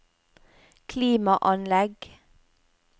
klimaanlegg